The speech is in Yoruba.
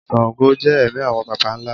sángò jẹ ẹ̀mí awọn baba ńlá